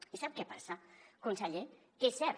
i sap què passa conseller que és cert